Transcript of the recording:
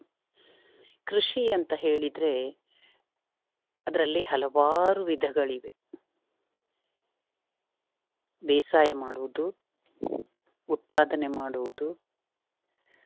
ಕೃಷಿ ಅಂತ ಹೇಳಿದ್ರೆ ಅದ್ರಲ್ಲಿ ಹಲವಾರು ವಿಧಗಳಿವೆ. ಬೇಸಾಯ ಮಾಡುವುದು, ಉತ್ಪಾದನೆ ಮಾಡುವುದು.